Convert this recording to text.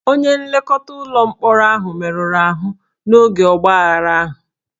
Onye nlekọta ụlọ mkpọrọ ahụ merụrụ ahụ n'oge ọgbaaghara ahụ